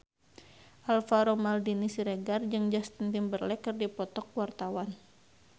Alvaro Maldini Siregar jeung Justin Timberlake keur dipoto ku wartawan